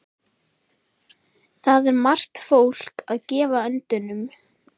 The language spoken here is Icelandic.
Þar er margt fólk að gefa öndunum.